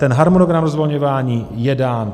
Ten harmonogram rozvolňování je dán.